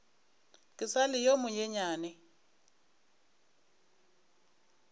ke sa le yo monyenyane